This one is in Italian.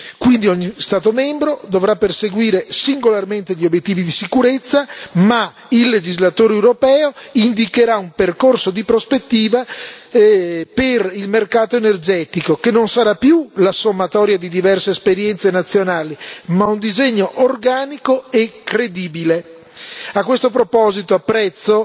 Quindi ogni Stato membro dovrà perseguire singolarmente gli obiettivi di sicurezza, ma il legislatore europeo indicherà un percorso di prospettiva per il mercato energetico, che non sarà più la sommatoria di diverse esperienze nazionali, ma un disegno organico e credibile. A questo proposito, apprezzo